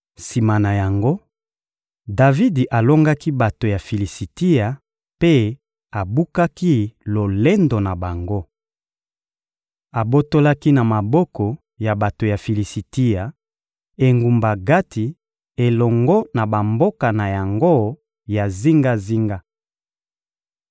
Sima na yango, Davidi alongaki bato ya Filisitia mpe abukaki lolendo na bango. Abotolaki na maboko ya bato ya Filisitia engumba Gati elongo na bamboka na yango ya zingazinga.